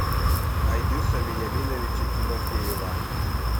айдыса вениаминовича тимофеева